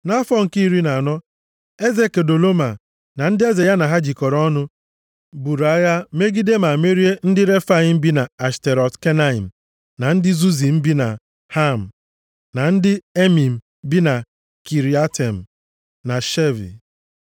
Nʼafọ nke iri na anọ, eze Kedoloma na ndị eze ya na ha jikọrọ ọnụ buru agha megide ma merie ndị Refaim + 14:5 Refaim Aha a Refaim pụtara ndị ọ gbaa dimkpa \+xt Jen 15:20\+xt* bi nʼAshterọt Kenaim na ndị Zuzim bi na Ham na ndị Emim bi Kiriatem na Shave,